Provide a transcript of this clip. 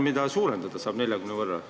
Millist arvu saab suurendada 40-ni?